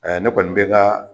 Ne kɔni bɛ ka